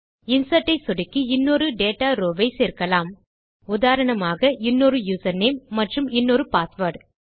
insert ஐ சொடுக்கி இன்னொரு டேட்டா ரோவ் ஐ சேர்க்கலாம் உதாரணமாக இன்னொரு யூசர்நேம் மற்றும் இன்னொரு பாஸ்வேர்ட்